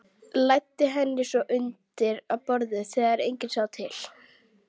Læddi henni svo undir borðið þegar enginn sá til.